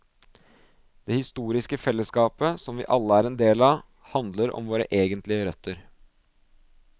Det historiske fellesskapet, som vi alle er en del av, handler om våre egentlige røtter.